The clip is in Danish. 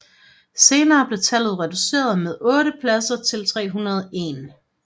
Senere blev tallet reduceret med otte pladser til 301